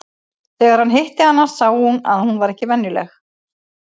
En þegar hann hitti hana sá hann að hún var ekki venjuleg.